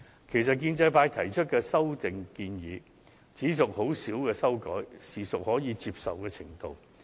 其實，建制派提出的修訂亦只屬輕微修改，應可接受。